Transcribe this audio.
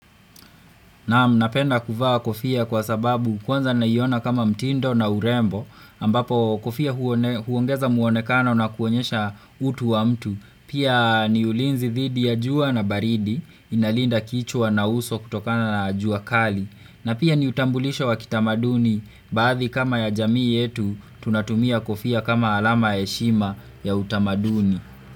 Napenda kuvaa kofia kwa sababu kwanza naiona kama mtindo na urembo ambapo kofia huongeza muonekana na kuonyesha utu wa mtu. Pia ni ulinzi thidi ya jua na baridi inalinda kichwa na uso kutokana na jua kali. Na pia ni utambulisho wa kitamaduni baadhi kama ya jamii yetu tunatumia kofia kama alama ya heshima ya utamaduni.